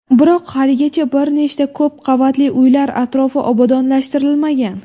Biroq haligacha bir nechta ko‘p qavatli uylar atrofi obodonlashtirilmagan.